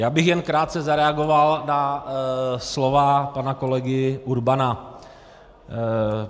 Já bych jen krátce zareagoval na slova pana kolegy Urbana.